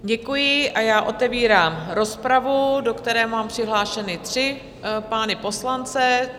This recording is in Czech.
Děkuji a já otevírám rozpravu, do které mám přihlášené tři pány poslance.